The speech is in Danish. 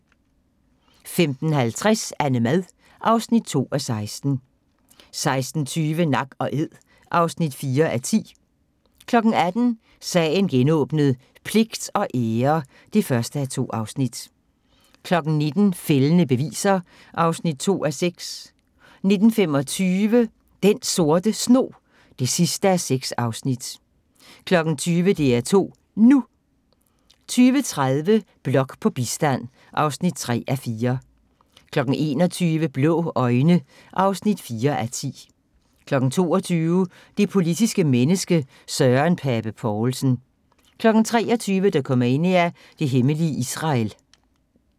15:50: AnneMad (2:16) 16:20: Nak & æd (4:10) 18:00: Sagen genåbnet: Pligt og ære (1:2) 19:00: Fældende beviser (2:6) 19:25: Den Sorte Snog (6:6) 20:00: DR2 NU 20:30: Blok på bistand (3:4) 21:00: Blå øjne (4:10) 22:00: Det politiske menneske – Søren Pape Poulsen 23:00: Dokumania: Det hemmelige Israel